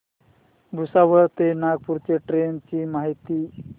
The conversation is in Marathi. भुसावळ ते नागपूर च्या ट्रेन ची माहिती